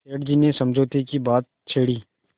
सेठ जी ने समझौते की बात छेड़ी